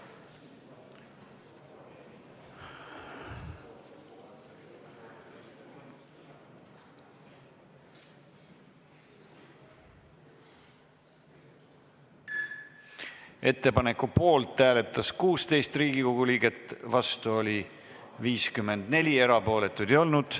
Hääletustulemused Ettepaneku poolt hääletas 16 Riigikogu liiget, vastu oli 54, erapooletuid ei olnud.